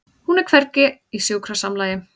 Hún er hvergi í sjúkrasamlagi.